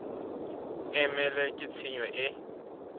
e mele ke tshenyo e